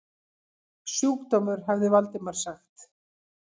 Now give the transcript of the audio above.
Sjúkdómur hafði Valdimar sagt.